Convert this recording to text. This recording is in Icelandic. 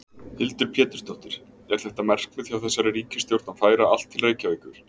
Hildur Pétursdóttir: Er þetta markmið hjá þessari ríkisstjórn að færa allt til Reykjavíkur?